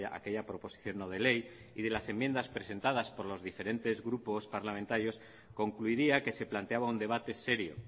aquella proposición no de ley y de las enmiendas presentadas por los diferentes grupos parlamentarios concluiría que se planteaba un debate serio